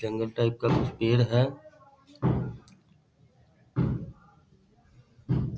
जंगल type का कुछ पेड़ है ।